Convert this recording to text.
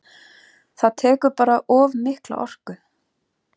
Það tekur bara of mikla orku.